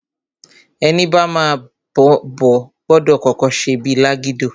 Ẹni bama m'obo, gbọdọ̀ kọ́kọ́ ṣe bíi lágídò.